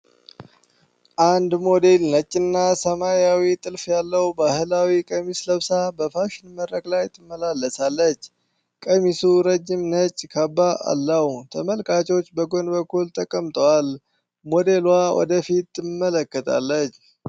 አንድ ሞዴል ነጭና ሰማያዊ ጥልፍ ያለው ባህላዊ ቀሚስ ለብሳ በፋሽን መድረክ ላይ ትመላለሳለች። ቀሚሱ ረጅም ነጭ ካባ አለው፤ ተመልካቾች በጎን በኩል ተቀምጠዋል። ሞዴሉዋ ወደ ፊት ትመለከታለች።